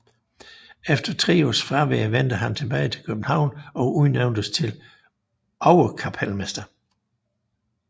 Efter 3 års fravær vendte han tilbage til København og udnævntes til overkapelmester